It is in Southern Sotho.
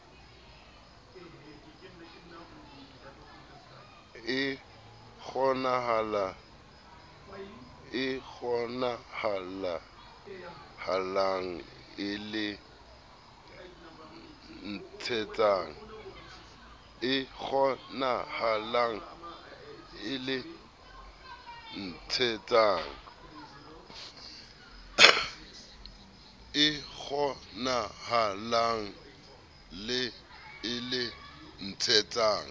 e kgonahalang le e ntshetsang